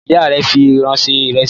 Ìyá rẹ̀ fi ìru ṣe ìrẹsì.